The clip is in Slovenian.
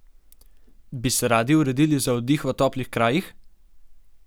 Bi se radi uredili za oddih v toplih krajih?